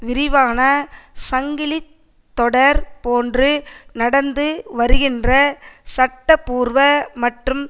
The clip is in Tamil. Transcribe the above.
விரிவான சங்கிலி தொடர் போன்று நடந்து வருகின்ற சட்ட பூர்வ மற்றும்